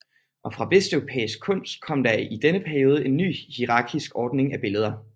Og fra vesteuropæisk kunst kom der i denne periode en ny hierarkisk ordning af billeder